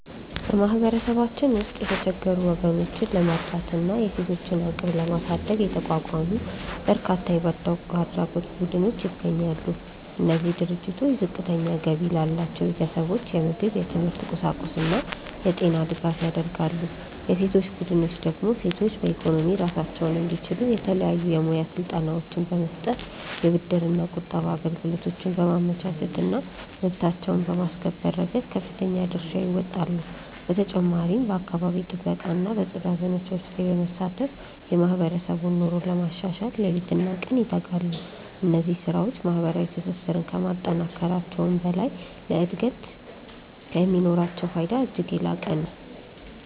በማህበረሰባችን ውስጥ የተቸገሩ ወገኖችን ለመርዳትና የሴቶችን አቅም ለማሳደግ የተቋቋሙ በርካታ የበጎ አድራጎት ቡድኖች ይገኛሉ። እነዚህ ድርጅቶች ዝቅተኛ ገቢ ላላቸው ቤተሰቦች የምግብ፣ የትምህርት ቁሳቁስና የጤና ድጋፍ ያደርጋሉ። የሴቶች ቡድኖች ደግሞ ሴቶች በኢኮኖሚ ራሳቸውን እንዲችሉ የተለያዩ የሙያ ስልጠናዎችን በመስጠት፣ የብድርና ቁጠባ አገልግሎቶችን በማመቻቸትና መብታቸውን በማስከበር ረገድ ከፍተኛ ድርሻ ይወጣሉ። በተጨማሪም በአካባቢ ጥበቃና በጽዳት ዘመቻዎች ላይ በመሳተፍ የማህበረሰቡን ኑሮ ለማሻሻል ሌሊትና ቀን ይተጋሉ። እነዚህ ስራዎች ማህበራዊ ትስስርን ከማጠናከራቸውም በላይ ለሀገር እድገት የሚኖራቸው ፋይዳ እጅግ የላቀ ነው።